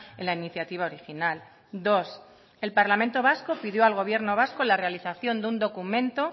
en la iniciativa original dos el parlamento vasco pidió al gobierno vasco la realización de un documento